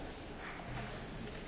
Pani Przewodnicząca!